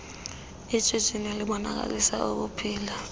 ishishini libonakalisa ukuphila